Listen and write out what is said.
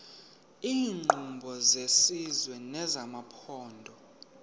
iinkqubo zesizwe nezamaphondo